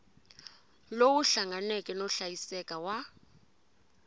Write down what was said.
lowu hlanganeke no hlayiseka wa